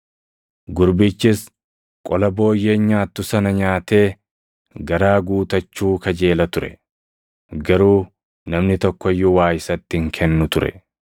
Gurbichis qola booyyeen nyaattu sana nyaatee garaa guutachuu kajeela ture; garuu namni tokko iyyuu waa isatti hin kennu ture.